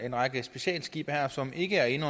en række specialskibe her som ikke er inde